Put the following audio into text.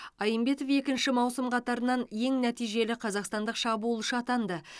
айымбетов екінші маусым қатарынан ең нәтижелі қазақстандық шабуылшы атанды